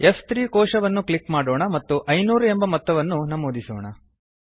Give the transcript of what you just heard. F3 ಕೋಶವನ್ನು click ಮಾಡೋಣ ಮತ್ತು 500 ಎಂದು ಮೊತ್ತವನ್ನು ನಮೂದಿಸೋಣ